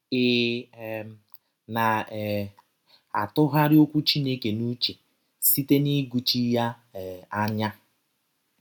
Ị̀ um na um - atụgharị Ọkwụ Chineke n’ụche site n’ịgụchi ya um anya??